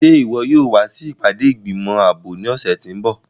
Ṣe iwọ yóò wa si ipade igbimọ aabo ni ọsẹ ti n bọ?